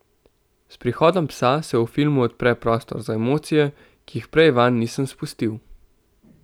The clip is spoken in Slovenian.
S prihodom psa se v filmu odpre prostor za emocije, ki jih prej vanj nisem spustil.